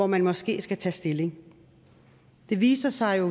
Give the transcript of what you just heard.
man måske skal tage stilling det viser sig